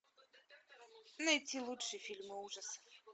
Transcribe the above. найти лучшие фильмы ужасов